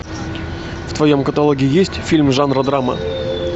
в твоем каталоге есть фильм жанра драма